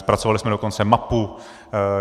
Zpracovali jsme dokonce mapu.